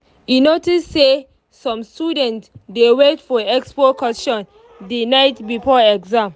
e notice say some students dey wait for expo questions the night before exam.